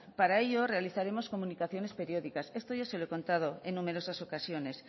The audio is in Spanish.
para ello realizaremos comunicaciones periódicas esto ya se lo he contado en numerosas ocasiones